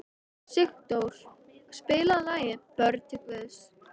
Sigdór, spilaðu lagið „Börn Guðs“.